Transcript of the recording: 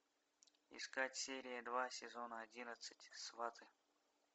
искать серия два сезона одиннадцать сваты